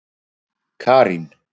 Karín